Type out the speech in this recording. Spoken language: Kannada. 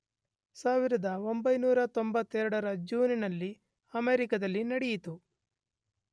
1992 ರ ಜೂನ್ ನಲ್ಲಿ ಅಮೇರಿಕದಲ್ಲಿ ನೆಡೆಯಿತು